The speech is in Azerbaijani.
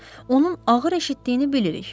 Onun ağır eşitdiyini bilirik.